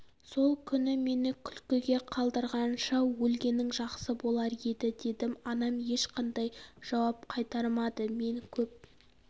сол күні мені күлкіге қалдырғанша өлгенің жақсы болар еді дедім анам ешқандай жауап қайырмады мен көп